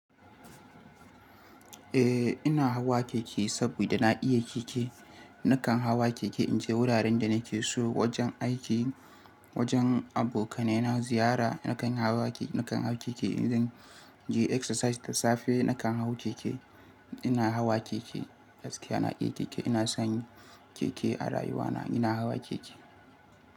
Eh ina hawa keke saboda na iya keke. Nakan hawa keke in je wuraren da nake so, wajen aiki, wajen abokanai na ziyara nakan hawa keke. Nakan hau keke idan naje exercise da safe nakan hau keke. Ina hawa keke, gaskiya na iya keke. Ina son keke a rayuwa na, ina hawa keke.